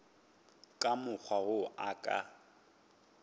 ka mokgwa wo a ka